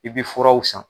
I bɛ furaw san